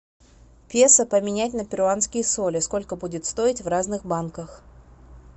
песо поменять на перуанские соли сколько будет стоить в разных банках